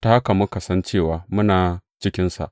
Ta haka muka san cewa muna cikinsa.